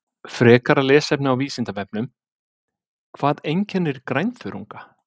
Frekara lesefni á Vísindavefnum: Hvað einkennir grænþörunga?